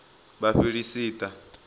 vhafiḽisita